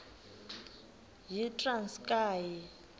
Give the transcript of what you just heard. yitranskayi